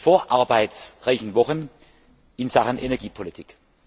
vor arbeitsreichen Wochen in Sachen Energiepolitik.